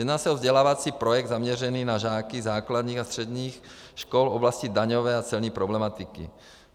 Jedná se o vzdělávací projekt zaměřený na žáky základních a středních škol v oblasti daňové a celní problematiky.